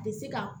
A tɛ se ka